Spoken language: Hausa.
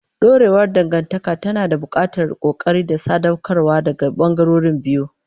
Dorewar dangantaka tana buƙatar ƙoƙari da sadaukarwa daga ɓangarorin biyu.